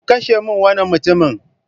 Ku kashe min wannan mutumin!